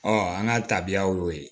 an ka tabiyaw y'o ye